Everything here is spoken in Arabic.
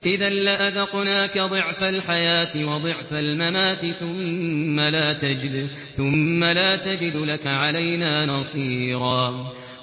إِذًا لَّأَذَقْنَاكَ ضِعْفَ الْحَيَاةِ وَضِعْفَ الْمَمَاتِ ثُمَّ لَا تَجِدُ لَكَ عَلَيْنَا نَصِيرًا